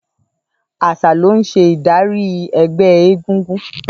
Àṣà ló ń ṣe ìdarí ẹgbẹ́ égúngún.